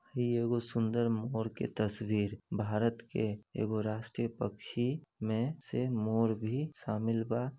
ह इ एगो सुंदर मोर की तस्वीर भारत के एगो राष्ट्रीय पक्षी में से मोर भी सामील बा।